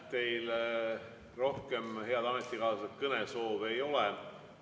Teil rohkem, head ametikaaslased, kõnesoove ei ole.